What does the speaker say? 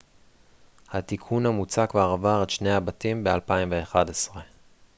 התיקון המוצע כבר עבר את שני הבתים ב-2011